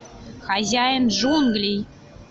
хозяин джунглей